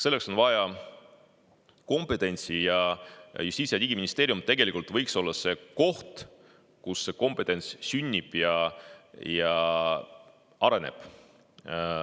Selleks on vaja kompetentsi ja Justiits‑ ja Digiministeerium tegelikult võiks olla see koht, kus see kompetents sünnib ja areneb.